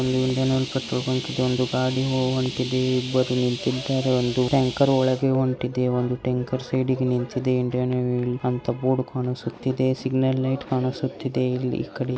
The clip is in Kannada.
ಇಂಡಿಯನ್ ಟ್ಯಾಂಕರ್ ನ ಒಂದು ಗಾಡಿ ಹೊಂಟಿದೆ ಇಲ್ಲಿ ಇಬ್ಬರು ನಿಂತಿದ್ದಾರೆ ಒಂದು ಟ್ಯಾಂಕರ್ ಒಳಗೆ ಹೊಂಟಿದೆ ಒಂದು ಟ್ಯಾಂಕರ್ ಸೈಡಿಗೆ ನಿಂತಿದೆ ಇಂಡಿಯನ್ ನೇವ್ಯ್ ಅಂತ ಬೋರ್ಡ್ ಕಾಣಿಸುತ್ತದೆ.ಸಿಗ್ನಲ್ ಲೈಟ್ ಕಾಣಿಸುತ್ತಿದೆ ಇಲ್ಲಿ --